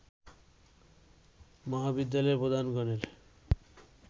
মহাবিদ্যালয়ের প্রধানগণের